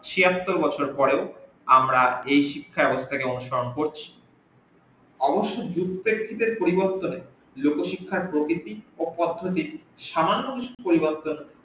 ছিয়াত্তর বছর পরেও আমাদের এই শিক্ষা ব্যাবস্থা কে অনুসরণ করছি অবশ্য লোক শিক্ষার প্রভিতি সামান্য কিছু পরিবর্তন